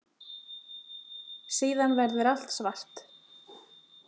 Síðan verður allt svart.